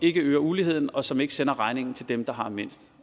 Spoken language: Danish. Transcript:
ikke øger uligheden og som ikke sender regningen til dem der har mindst